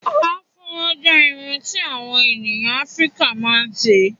Afúró jẹ́ iru tí àwọn ènìyàn Afrika ma ń ṣe